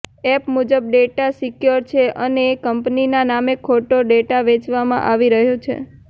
app મુજબ data secure છે અને કંપનીના નામે ખોટો ડેટા વેચવામાં આવી રહ્યો છે